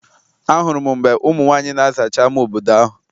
Ahụrụ m mgbe ụmụ nwaanyị na-azacha ama obodo ahụ.